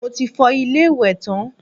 Mo ti fọ ilé-ìwẹ̀ tán